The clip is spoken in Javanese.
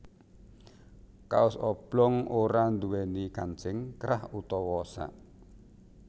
Kaos oblong ora nduwèni kancing krah utawa sak